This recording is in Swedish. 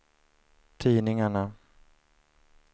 tidningarna